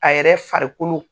A yɛrɛ farikolo.